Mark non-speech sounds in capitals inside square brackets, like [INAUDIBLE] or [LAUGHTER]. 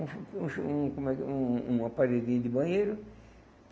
Um, [UNINTELLIGIBLE] como é que, um um aparelhinho de banheiro.